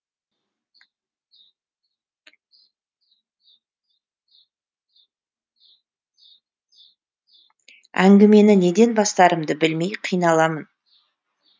әңгімені неден бастарымды білмей қиналамын